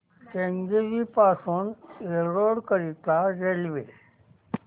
केंगेरी पासून एरोड करीता रेल्वे